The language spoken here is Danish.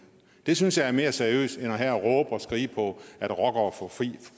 det synes jeg er mere seriøst end at råbe og skrige at rockere får frit